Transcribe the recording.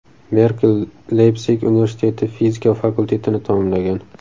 Merkel Leypsig universiteti fizika fakultetini tamomlagan.